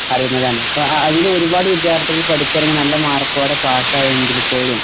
അറിയുന്നതാണ്.ആ ആ അതിലൊരുപാട് വിദ്യാർഥികൾ പഠിച്ചിറങ്ങി നല്ല മാർക്കോടെ പാസ്സായെങ്കിൽ പോലും